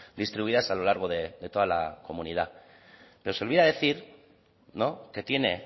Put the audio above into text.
distribuidas a lo largo de toda la comunidad pero se le olvida decir no que tiene